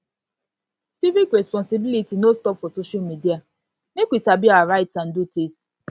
civic responsibility no stop for social media make we sabi our rights and duties